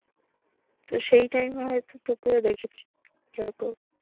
তো সেই time এ হয়তো তোকেও দেখেছি। so good